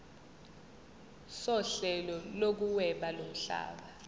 sohlelo lokuhweba lomhlaba